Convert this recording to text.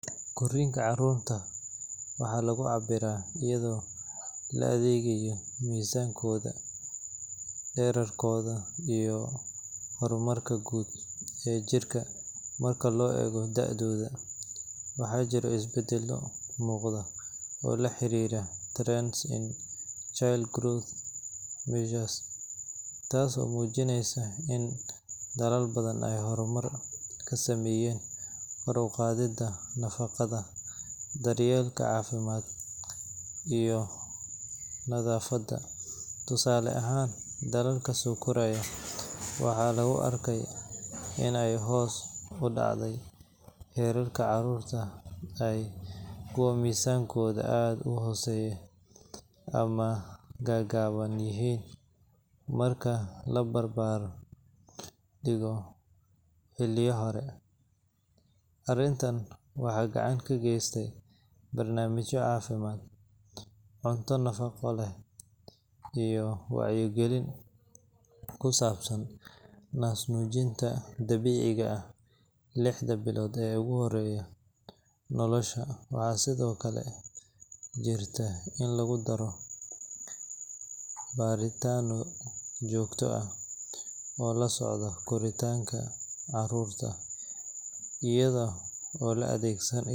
Korriinka carruurta waxaa lagu cabbiraa iyadoo la eegayo miisaankooda, dhererkooda, iyo horumarka guud ee jirka marka loo eego da’dooda. Waxaa jiray isbedelo muuqda oo la xiriira trends in child growth measures, taasoo muujinaysa in dalal badan ay horumar ka sameeyeen kor u qaadidda nafaqada, daryeelka caafimaad, iyo nadaafadda. Tusaale ahaan, dalalka soo koraya waxaa lagu arkay in ay hoos u dhacday heerka carruurta ah kuwa miisaankoodu aad u hooseeyo ama gaagaaban yihiin marka la barbar dhigo xilliyo hore. Arrintan waxaa gacan ka geystay barnaamijyo caafimaad, cunto nafaqo leh, iyo wacyi gelin ku saabsan naasnuujinta dabiiciga ah lixda bilood ee ugu horreeya nolosha. Waxaa sidoo kale jirta in lagu daro baaritaanno joogto ah oo la socdo korriinka carruurta, iyada oo la adeegsanayo.